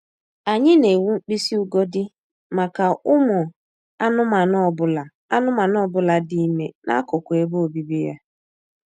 Anyị na-ewu mkpịsị ugodi maka ụmụ anụmanụ ọ bụla anụmanụ ọ bụla dị ime n'akụkụ ebe obibi ya